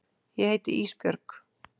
Ég heiti Ísbjörg.